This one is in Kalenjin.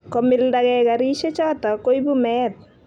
komildagei karishechoto koibu meet